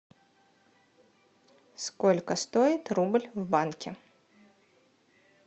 сколько стоит рубль в банке